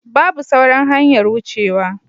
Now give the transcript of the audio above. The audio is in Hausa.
Babu sauran hanyar wucewa.